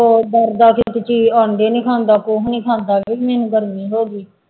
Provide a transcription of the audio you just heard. ਉਹ ਡਰਦਾ ਕਿ ਆਂਡੇ ਨੀ ਖਾਂਦਾ ਕੁਛ ਨੀ ਖਾਂਦਾ ਕਿ ਵੀ ਮੈਨੂੰ ਗਰਮੀ ਹੋ ਗਈ।